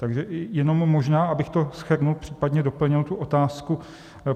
Takže jenom možná, abych to shrnul, případně doplnil tu otázku.